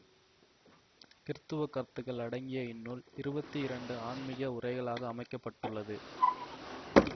கிறித்தவக் கருத்துகள் அடங்கிய இந்நூல் இருபத்தி இரண்டு ஆன்மீக உரைகளாக அமைக்க பட்டுள்ளது